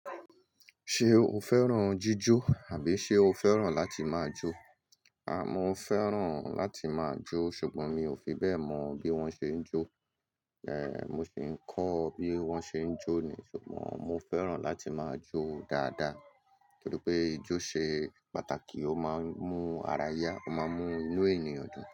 Ṣé o fẹ́ràn jíjó àbí ṣe o fẹ́ràn láti máa jó? A mo fẹ́ràn láti máa jó ṣùgbọ́n mi ò fi bẹ́ẹ̀ mọ bí wọ́n ṣe ń jó. Mo sì ń kọ́ bí wọ́n ṣe ń jó ni. Ṣùgbọ́n mo fẹ́ràn láti máa jó dáadáa nítorí pé ijó ṣe pàtàkì, ó máa ń mú ara yá, ó máa ń mú inú ènìyàn dùn.